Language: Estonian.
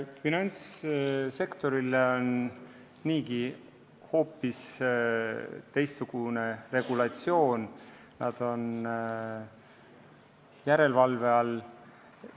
Finantssektoril on niigi hoopis teistsugune regulatsioon, nad on järelevalve all.